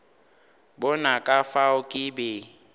bona ka fao ke be